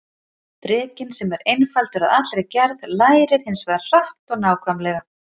Drekinn, sem er einfaldur að allri gerð, lærir hins vegar hratt og nákvæmlega.